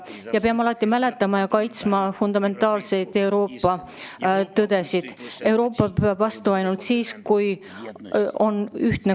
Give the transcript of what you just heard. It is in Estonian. Me peame alati mäletama ja kaitsma fundamentaalset Euroopa tõde: Euroopa peab vastu ainult siis, kui ta on ühtne.